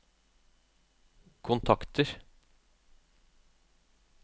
kontakter